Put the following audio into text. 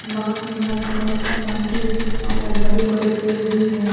बास में लाल कपड़ा लगा हुआ है पौधा है बड़े बड़े पेड़ भी है।